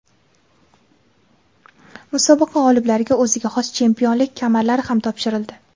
Musobaqa g‘oliblariga o‘ziga xos chempionlik kamarlari ham topshirildi.